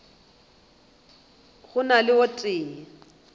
go na le o tee